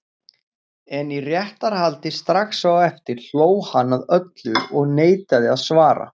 En í réttarhaldi strax á eftir hló hann að öllu og neitaði að svara.